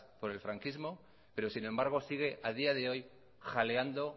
por el franquismo pero sin embargo sigue a día de hoy jaleando